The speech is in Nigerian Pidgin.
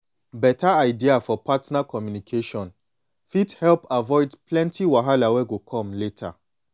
beta idea for partner communication fit help avoid plenty wahala we go come later